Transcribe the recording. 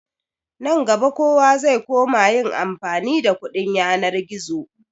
Nan gaba kowa zai koma yin amfani da kuɗin yanar gizo.